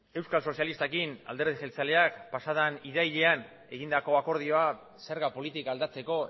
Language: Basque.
euskal sozialistarekin alderdi jeltzaleak pasa den irailean egindako akordioa zerga politika aldatzeko